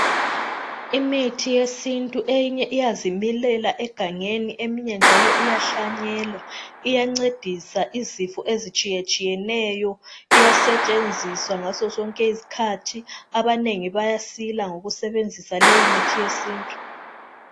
Imithi yesintu eyenye iyazimilela egangeni eminye njalo iyahlanyelwa , iyancedisa izifo ezitshiye tshiyeneyo iyasetshenziswa ngaso zonke izikhathi njalo abanengi bayasila ngokusebenzisa leyimithi yesintu.